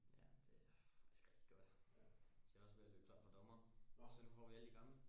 ja det er faktisk rigtig godt de er også ved at løbe tør for dommere så nu får vi alle de gamle